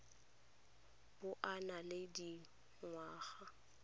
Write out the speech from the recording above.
bo o na le dingwaga